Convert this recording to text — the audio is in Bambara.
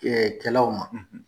o ma